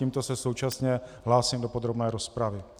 Tímto se současně hlásím do podrobné rozpravy.